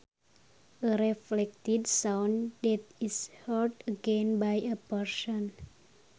A reflected sound that is heard again by a person